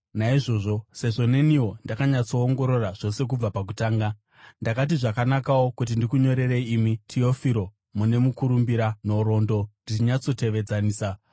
Naizvozvo, sezvo neniwo ndakanyatsoongorora zvose kubva pakutanga, ndakati zvakanakawo kuti ndikunyorerei imi Tiofiro mune mukurumbira, nhoroondo ndichinyatsotevedzanisa,